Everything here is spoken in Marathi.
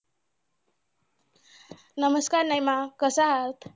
नमस्कार निमा कसं आहात?